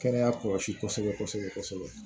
Kɛnɛya kɔlɔsi kosɛbɛ kosɛbɛ kosɛbɛ